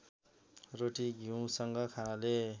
रोटी घिउसँग खानाले